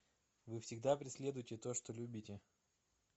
вы всегда преследуете то что любите